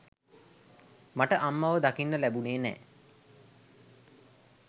මට අම්මව දකින්න ලැබුනේ නෑ.